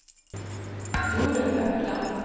Jorun Økland